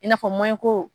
I n'a fɔ ko